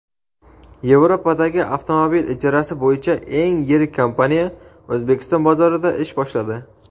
Yevropadagi avtomobil ijarasi bo‘yicha eng yirik kompaniya O‘zbekiston bozorida ish boshladi.